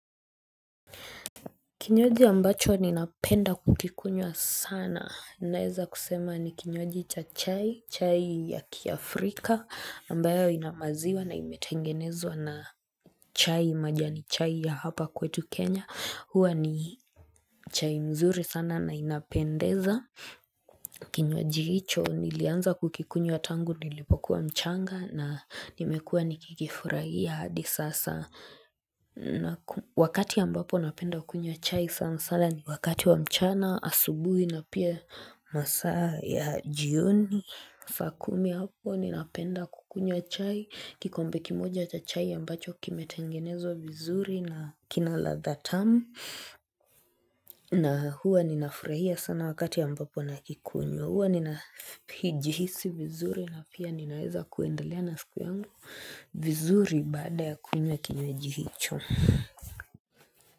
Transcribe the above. Kinywaji ambacho ninapenda kukikunywa sana naeza kusema ni kinywaji cha chai chai ya kiafrika ambayo inamaziwa na imetengenezwa na chai majani chai ya hapa kwetu kenya huwa ni chai mzuri sana na inapendeza Kinywaji hicho nilianza kukikunywa tangu nilipokuwa mchanga na nimekua nikikifurahia hadi sasa Wakati ambapo napenda kunywa chai sana sana ni wakati wa mchana, asubuhi na pia masaa ya jioni. Fakumi hapo ninapenda kukunywa chai kikombe kimoja cha chai ambacho kimetengenezwa vizuri na kina lathe timu na huwa ninafurahia sana wakati ampapo nakikunywa Huwa nina Pijihisi vizuri na pia ninaweza kuendalea na siku yangu vizuri bada ya kunywa kinywaji hicho.